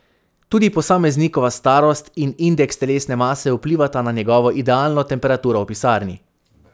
Tudi posameznikova starost in indeks telesne mase vplivata na njegovo idealno temperaturo v pisarni.